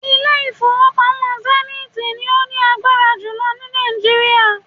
Ilé ìfowópamọ́ Zenith ni ó ní agbára jùlọ ni Nàìjíríà